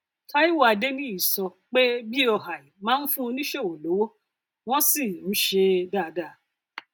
taiwo adeniyi sọ um pé boi máa ń fún oníṣòwò lówó wọn sì um ń ṣe é um dáadáa